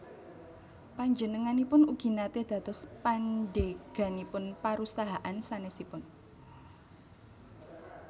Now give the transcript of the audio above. Panjenenganipun ugi naté dados pandheganipun parusahaan sanèsipun